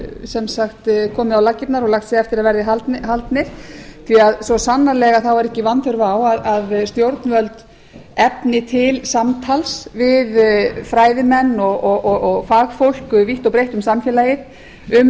sem sagt komið á laggirnar og lagt sig eftir að verði haldnir svo sannarlega er ekki vanþörf á að stjórnvöld efni til samtals við fræðimenn og fagfólk vítt og breitt um samfélagið